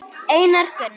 Einar Gunnar.